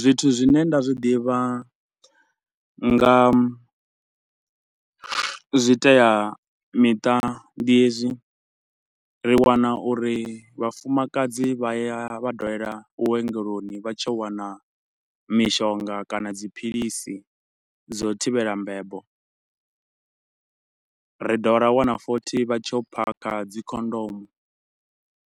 Zwithu zwi ne nda zwi ḓivha nga, zwi itea miṱa ndi hezwi, ri wana uri vhafumakadzi vha ya vha dalela vhuongeloni vha tshi yo wana mishonga kana dziphilisi dza u thivhela mbebo. Ri dovha ra wana futhi vha tshi yo phakha dzikhondomu,